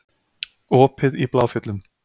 Opið í Bláfjöllum